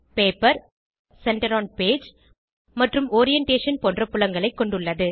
paper centre one page மற்றும் orientation போன்ற புலங்களைக் கொண்டுள்ளது